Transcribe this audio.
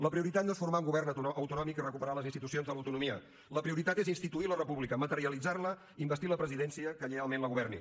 la prioritat no és formar un govern autonòmic i recuperar les institucions de l’autonomia la prioritat és instituir la república materialitzar la investir la presidència que lleialment la governi